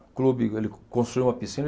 O clube, ele construiu uma piscina.